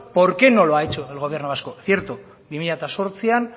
por qué no lo ha hecho el gobierno vasco cierto bi mila zortzian